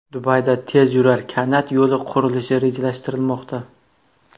Dubayda tezyurar kanat yo‘li qurilishi rejalashtirilmoqda.